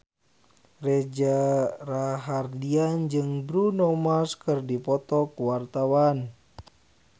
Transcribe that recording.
Reza Rahardian jeung Bruno Mars keur dipoto ku wartawan